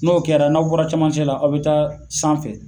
N'o kɛra n'aw bɔra camancɛ la aw be taa sanfɛ